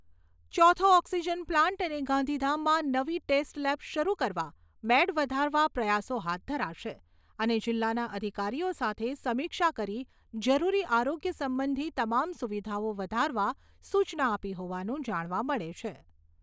ચોથો oxygen plant અને ગાંધીધામમાં નવી ટેસ્ટ લેબ શરૂ કરવા, બેડ વધારવા પ્રયાસો હાથ ધરાશે અને જિલ્લાના અધિકારીઓ સાથે સમીક્ષા કરી જરૂરી આરોગ્ય સંબંધી તમામ સુવિધાઓ વધારવા સુચના આપી હોવાનું જાણવા મળે છે.